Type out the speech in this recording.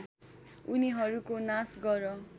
उनीहरूको नाश गर